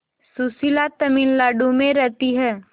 सुशीला तमिलनाडु में रहती है